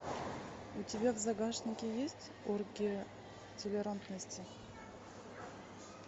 у тебя в загашнике есть оргия толерантности